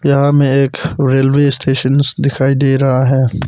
यहां में एक रेलवे स्टेशन दिखाई दे रहा है।